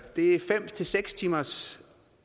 det er fem seks timers